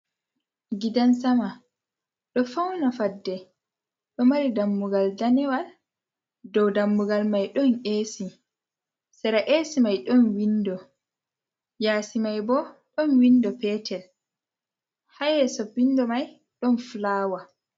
Gidan sama do fauna fadde, do mari dammugal danewal, dow dammugal mai don esi sera esi mai don windo yasi mai bo don windo petel ha yesso windo mai don flawa.